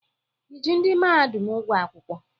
I ji ndị mahadum ụgwọ akwụkwọ?